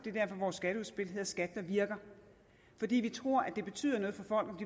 er derfor vores skatteudspil hedder skat der virker vi tror nemlig det betyder noget for